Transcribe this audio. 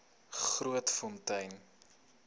grootfontein